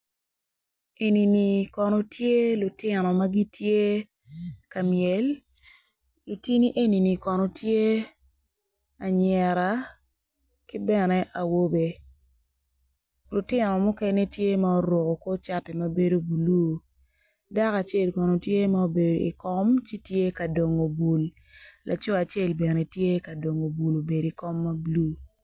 Eni kono tye lutino ma gitye ka myel lutini eni kono gitye lutino anyira ki bene awobe lutino mukene tye guruko kor cati mabedo bulu dako acel kono tye ma obedo i kom kayaka tye ka dongo bul laco acel tye ka dongo bul kun obedo i kom ma bulu.